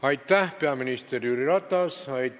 Aitäh, peaminister Jüri Ratas!